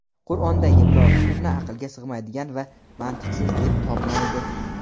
Qur’ondagi biror hukmni aqlga sig‘maydigan va mantiqsiz deb topmaydi.